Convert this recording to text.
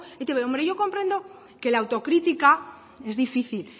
eitb yo comprendo que la autocrítica es difícil